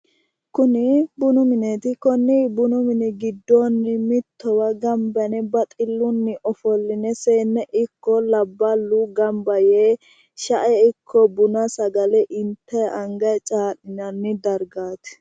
Kuni bunu mineeti, konni bunu mini giddoonni mittowa gamba yine baxxillunni ofolline seenne ikko labballu gamba yee shae ikko buna sagale intayi angayi caa'linanni dargaati.